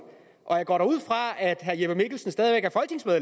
og jeg går da ud fra at herre jeppe mikkelsen stadig